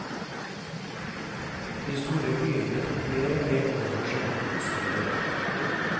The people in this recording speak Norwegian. De store byene tok mer og mer over som handelssteder.